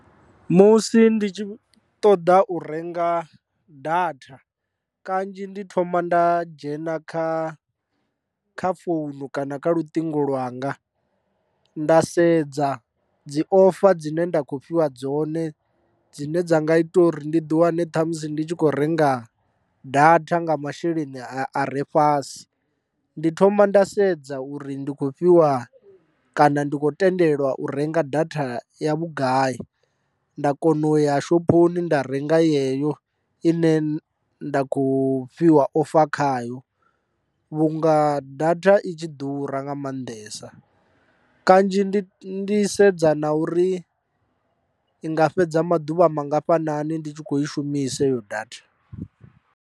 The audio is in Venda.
Musi ndi tshi ṱoḓa u renga data kanzhi ndi thoma nda dzhena kha kha founu kana kha lutingo lwanga nda sedza dzi ofa dzine nda kho fhiwa dzone dzine dza nga itwa uri ndi ḓi wane ṱhamusi ndi tshi khou renga data nga masheleni a re fhasi. Ndi thoma nda sedza uri ndi khou fhiwa kana ndi khou tendelwa u renga datha ya vhugai, nda kona u ya shophoni nda renga yeyo i ne nda khou fhiwa ofa khayo vhunga datha i tshi ḓura nga maanḓesa, kanzhi ndi ndi sedza na uri i nga fhedza maḓuvha mangafhanani ndi tshi kho i shumisa heyo datha.